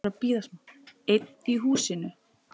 Einn í húsinu.